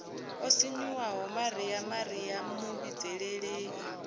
o sinyuwaho maria maria muvhidzeleli